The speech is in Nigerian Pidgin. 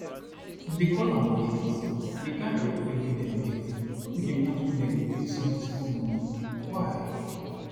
dem dey call am wet lease and di kain aeroplane wey dem dey get no be di ones wey dem go pay small small money why